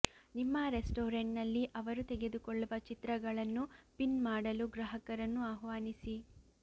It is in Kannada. ನಿಮ್ಮ ರೆಸ್ಟಾರೆಂಟ್ನಲ್ಲಿ ಅವರು ತೆಗೆದುಕೊಳ್ಳುವ ಚಿತ್ರಗಳನ್ನು ಪಿನ್ ಮಾಡಲು ಗ್ರಾಹಕರನ್ನು ಆಹ್ವಾನಿಸಿ